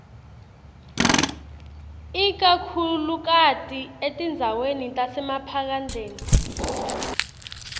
ikakhulukati etindzaweni tasemaphandleni